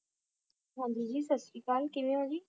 ਹਾਂਜੀ ਜੀ ਸਤਿ ਸ਼੍ਰੀ ਅਕਾਲ ਕਿਵੇਂ ਓ ਜੀ?